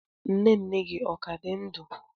Nne nne gi o ka di ndu?